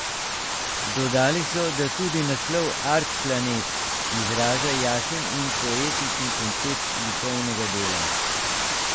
Dodali so, da tudi naslov Art planet izraža jasen in poetičen koncept likovnega dela.